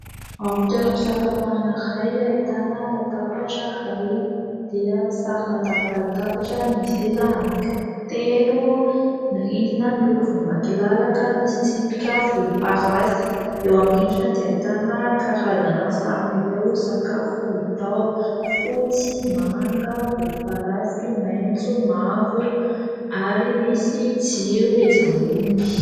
Ao amin'ny toeram-pisakafoana iray, ahitana latabatra iray dia sarina tapaka latabatra misy seza anankitelo. Ny rindrina miloko volombatolalaka, misy tsipika volomparasy. Eo amin'ny rindrina dia ahitana karazana sarin'ireo sakafo hita ao fotsy, manga, volomparasy, maitso, mavo ary misy jiro etsy ambony.